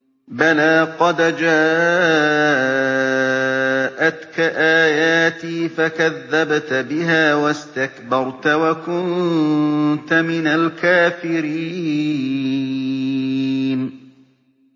بَلَىٰ قَدْ جَاءَتْكَ آيَاتِي فَكَذَّبْتَ بِهَا وَاسْتَكْبَرْتَ وَكُنتَ مِنَ الْكَافِرِينَ